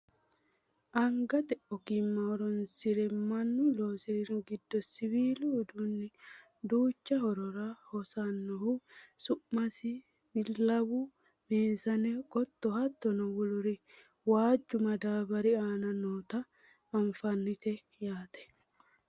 angate ogimma horonsire mannu loosinori giddo siwiilu uduunni duucha horora hosannohu su'mansa billawu, meesane, qotto hattono woluri waajju madaabbari aana noota nafannite yaate